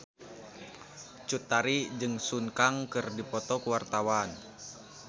Cut Tari jeung Sun Kang keur dipoto ku wartawan